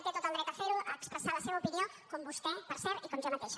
té tot el dret a fer ho a expressar la seva opinió com vostè per cert i com jo mateixa